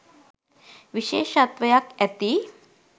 විශේෂත්වයක් ඇති.